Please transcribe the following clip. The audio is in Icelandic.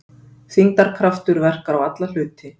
Þyngdarkraftur verkar á alla hluti.